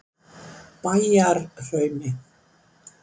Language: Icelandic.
Bæjarhrauni